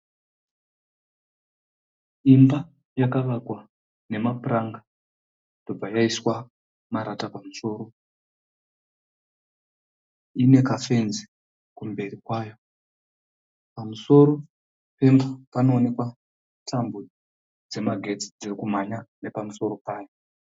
Imba yakavakwa nemapuranga ndobva yaiswa marata pamusoro. Ine kafenzi kumberi kwayo. Pamusoro pemba panowonekwa tambo dzemagetsi dziri kumhanya nepamusoro payo.